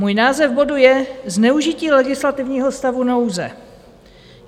Můj název bodu je Zneužití legislativního stavu nouze.